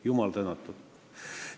Jumal tänatud!